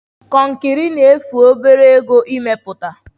Konkiri na-efu obere ego ime puta.